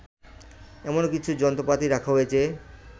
এমন কিছু যন্ত্রপাতি রাখা হয়েছে